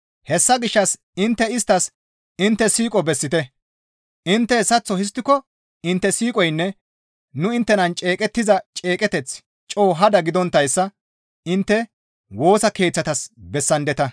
Hessa gishshas intte isttas intte siiqo bessite; intte hessaththo histtiko intte siiqoynne nu inttenan ceeqettiza ceeqeteththi coo hada gidonttayssa intte Woosa Keeththatas bessandeta.